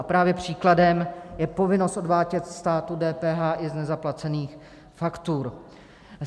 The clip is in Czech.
A právě příkladem je povinnost odvádět státu DPH i z nezaplacených faktur.